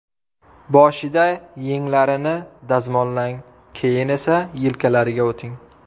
Boshida yenglarini dazmollang, keyin esa yelkalariga o‘ting.